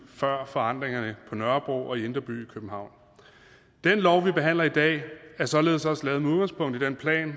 før forandringerne på nørrebro og i indre by i københavn den lov vi behandler i dag er således også lavet med udgangspunkt i den plan